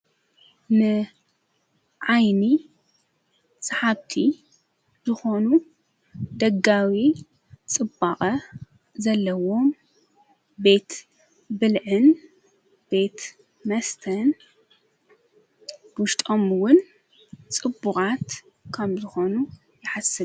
ንዓይኒ ሰሓብቲ ዝኾኑ ደጋዊ ጽቡቐ ዘለዎም ቤት ብልእን ቤት መስተን ብሽጦሙውን ጽቡቓት ካም ዝኾኑ የሓስብ።